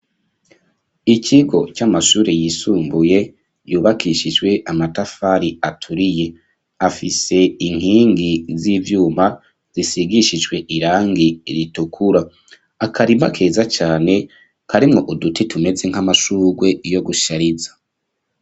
Ikigo, c'amashure yisumbuye, yubakishijwe amatafari, aturiye; afise inkingi z'ivyuma, zisigishijwe irangi ritukura; akarima keza cane karimwo uduti tumeze nk'amashurwe yo gushariza.